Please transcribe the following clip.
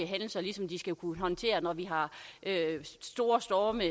hændelser ligesom det skal kunne håndtere når vi har store storme